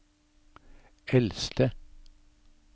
eldste